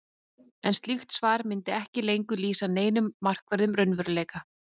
en slíkt svar mundi ekki lengur lýsa neinum markverðum raunveruleika